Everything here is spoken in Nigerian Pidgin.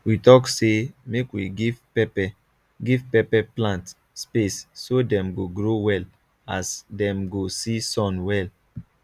we talk say make we give pepper give pepper plant space so dem go grow well as dem go see sun well